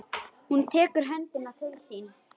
Hún dregur höndina til sín.